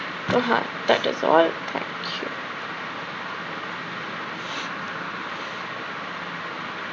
উহ হ্যাঁ that a call